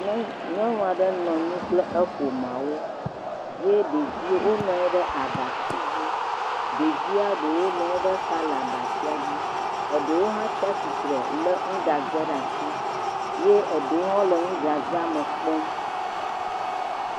Nyɔnu, nyɔnu aɖe nɔ anyi kple eƒomaa wo ye ɖeviwo nɔ anyi ɖe abatsi dzi, ɖevia ɖewo nɔ anyi ɖe xa le abatsia dzi. Ɖewo hã tsia tsitre lé nuɖaze ɖe asi eye ɖewo hã le nuɖazea me kpɔm.